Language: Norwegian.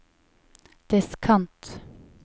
diskant